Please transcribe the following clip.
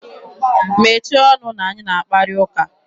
Mechie ọnụ na anyị na akparị ụka!